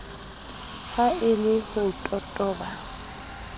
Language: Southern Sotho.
ha e le ho totoba